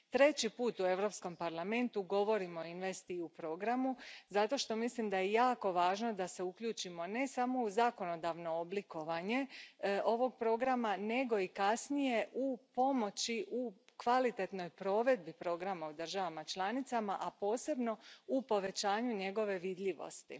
Treći put u Europskom parlamentu govorim o InvestEU programu zato što mislim da je jako važno da se uključimo ne samo u zakonodavno oblikovanje ovog programa nego i kasnije u pomoći u kvalitetnoj provedbi programa u državama članicama, a posebno u povećanju njegove vidljivosti.